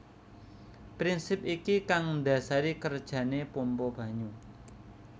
Prinsip iki kang ndasari kerjane pompa banyu